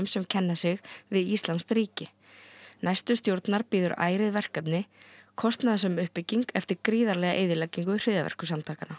sem kenna sig við íslamskt ríki næstu stjórnar bíður ærið verkefni kostnaðarsöm uppbygging eftir gríðarlega eyðileggingu hryðjuverkasamtakanna